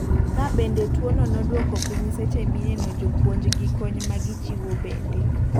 Ka bende tuo no noduoko piny seche mineno jopuonj gi kony ma gichiwo bende